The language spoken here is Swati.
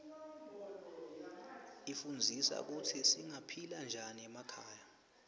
ifundzisa kutsi singaphila njani emakhaya